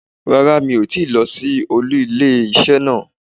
Rárá mi ò tíì lo sí olú ilé isé náà